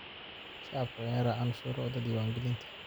Shacabku waa inay raacaan shuruucda diiwaangelinta.